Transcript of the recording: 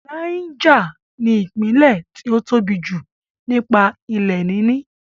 Náíjà ní ìpínlẹ̀ tí ó tóbi jù nípa ilẹ̀ níní